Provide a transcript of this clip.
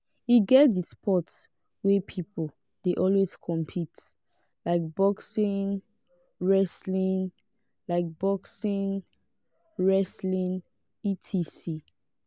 e get di sport wey pipo de always compete like boxing wrestling like boxing wrestling etc